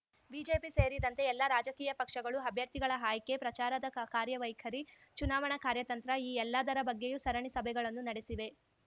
BJP ಸೇರಿದಂತೆ ಎಲ್ಲ ರಾಜಕೀಯ ಪಕ್ಷಗಳು ಅಭ್ಯರ್ಥಿಗಳ ಆಯ್ಕೆ ಪ್ರಚಾರದ ಕಾ ಕಾರ್ಯವೈಖರಿ ಚುನಾವಣಾ ಕಾರ್ಯತಂತ್ರ ಈ ಎಲ್ಲದರ ಬಗ್ಗೆಯೂ ಸರಣಿ ಸಭೆಗಳನ್ನು ನಡೆಸಿವೆ